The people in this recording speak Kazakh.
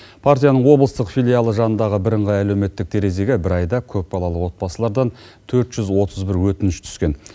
партияның облыстық филиалы жанындағы бірыңғай әлеуметтік терезеге бір айда көпбалалы отбасылардан төрт жүз отыз бір өтініш түскен